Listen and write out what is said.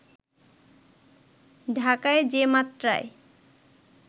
ঢাকায় যে মাত্রায়